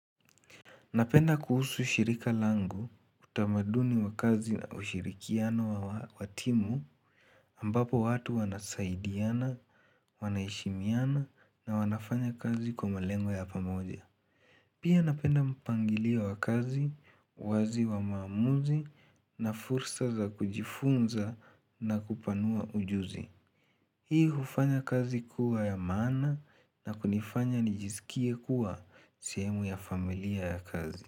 Napenda kuhusu shirika langu utamaduni wa kazi na ushirikiano wa timu ambapo watu wanasaidiana, wanaheshimiana na wanafanya kazi kwa malengo ya pamoja. Pia napenda mpangilio wa kazi, uwazi wa maamuzi na fursa za kujifunza na kupanua ujuzi. Hii hufanya kazi kuwa ya maana na kunifanya nijisikie kuwa sehemu ya familia ya kazi.